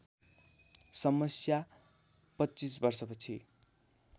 समस्या २५ वर्षपछि